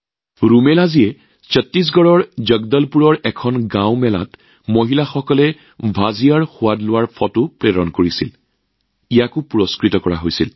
ৰুমেলাজীয়ে ছত্তীশগড়ৰ জগদলপুৰৰ এখন গাঁৱৰ মেলাত ভুজিয়াৰ সোৱাদ লোৱা মহিলাৰ ফটো এখন পঠিয়াইছিল সেইখনো বঁটা দিয়া হৈছিল